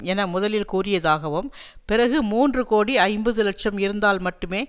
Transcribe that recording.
என முதலில் கூறியதாகவும் பிறகு மூன்றுகோடி ஐம்பது லட்சம் இருந்தால் மட்டுமே